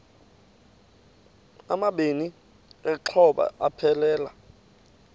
amabini exhobe aphelela